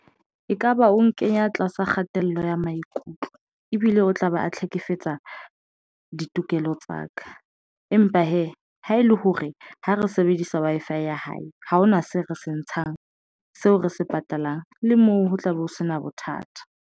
Ekaba o nkenya tlasa kgatello ya maikutlo ebile o tla be a hlekefetsa ditokelo tsa ka. Empa hee ha ele hore ha re sebedisa Wi-Fi ya hae, haona se re se ntshang seo re se patalang, le moo ho tla be o se na bothata.